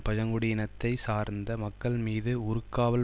பழங்குடி இனத்தை சார்ந்த மக்கள் மீது ஊர்காவல்